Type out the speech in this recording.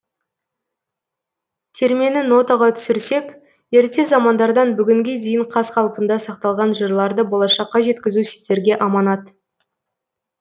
термені нотаға түсірсек ерте замандардан бүгінге дейін қаз қалпында сақталған жырларды болашаққа жеткізу сіздерге аманат